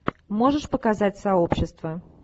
можешь показать сообщество